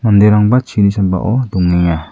manderangba chini sambao dongenga.